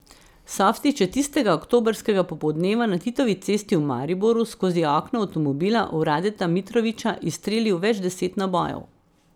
Softić je tistega oktobrskega popoldneva na Titovi cesti v Mariboru skozi okno avtomobila v Radeta Mitrovića izstrelil več deset nabojev.